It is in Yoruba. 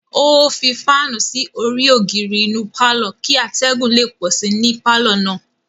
O fi faanu sí orí ogiri inú parlor kì atẹgun le pọ sí ní parlor náà